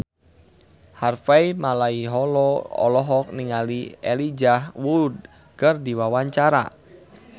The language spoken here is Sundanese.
Harvey Malaiholo olohok ningali Elijah Wood keur diwawancara